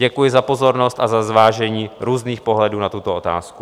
Děkuji za pozornost a za zvážení různých pohledů na tuto otázku.